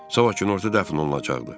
Sabah günorta dəfn olunacaq.